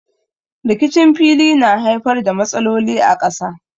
Rikicin fili na haifar da matsaloli a ƙasa.